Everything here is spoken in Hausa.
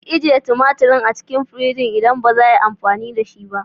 Ki ajiye tumaturin a cikin firigi idan baza 'a yi amfani da shi ba.